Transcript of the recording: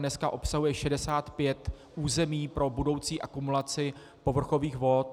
Dneska obsahuje 65 území pro budoucí akumulaci povrchových vod.